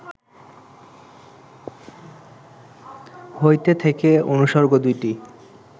হইতে, থেকে অনুসর্গ দুইটি